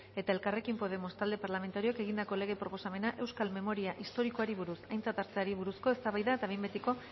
eta elkarrekin podemos talde parlamentarioak egindako lege proposamena euskal memoria historikoari buruz aintzat hartzeari buruzko eztabaida eta behin betiko